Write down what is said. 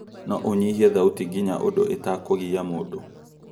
No ũnyiihe thauti nginya ũndu itakugia mũndũ